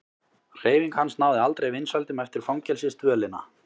Hreyfing hans náði aldrei vinsældum eftir fangelsisdvölina.